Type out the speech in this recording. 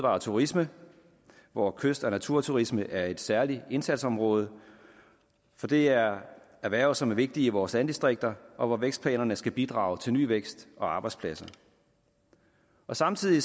og turisme hvor kyst og naturturisme er et særligt indsatsområde for det er erhverv som er vigtige i vores landdistrikter og hvor vækstplanerne skal bidrage til ny vækst og nye arbejdspladser samtidig